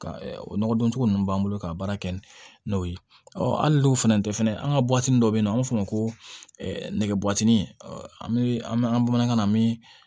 Ka o nɔgɔdon cogo ninnu b'an bolo ka baara kɛ ni n'o ye hali n'o fana tɛ fɛnɛ an ka dɔ be yen nɔ an b'a fɔ o ma ko nɛgɛ bɔtinin an be an bamanankan na an mi